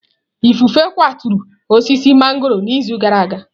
Ifufe kwaturu osisi mangọrọ n'izu gara aga.